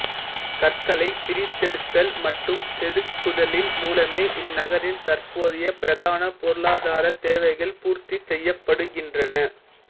கற்களைப் பிரித்தெடுத்தல் மற்றும் செதுக்குதலின் மூலமே இந்நகரின் தற்போதைய பிரதான பொருளாதாரத் தேவைகள் பூர்த்தி செய்யப்படுகின்றன